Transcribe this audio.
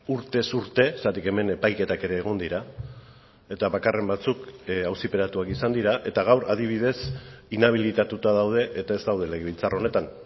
urtez urte zergatik hemen epaiketak ere egon dira eta bakarren batzuk auziperatuak izan dira eta gaur adibidez inabilitatuta daude eta ez daude legebiltzar honetan